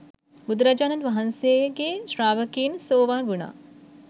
බුදුරජාණන් වහන්සේගේ ශ්‍රාවකයින් සෝවාන් වුණා.